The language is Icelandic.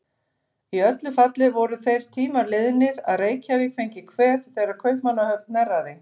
Í öllu falli voru þeir tímar liðnir, að Reykjavík fengi kvef þegar Kaupmannahöfn hnerraði.